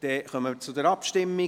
Somit kommen wir zur Abstimmung.